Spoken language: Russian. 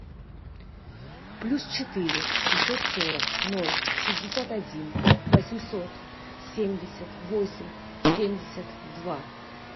плюс четыре шестьсот сорок ноль шестьдесят один восемьсот семьдесят восемь семьдесят два